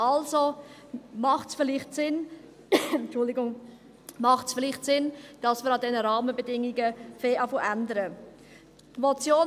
Also macht es vielleicht Sinn, dass wir an diesen Rahmenbedingungen etwas zu ändern beginnen.